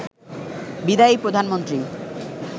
বিদায়ী প্রধানমন্ত্রী